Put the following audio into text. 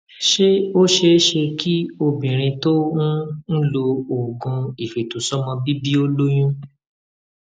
ṣé ó ṣeé ṣe kí obìnrin tó ń ń lo oògùn ifeto somo bìbí ó lóyún